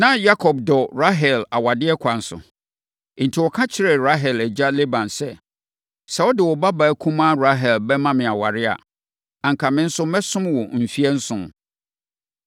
Na Yakob dɔ Rahel awadeɛ kwan so, enti ɔka kyerɛɛ Rahel agya Laban sɛ, “Sɛ wode wo babaa kumaa Rahel bɛma me aware a, anka me nso mɛsom wo mfeɛ nson.”